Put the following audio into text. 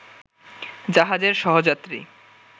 জাহাজের সহযাত্রী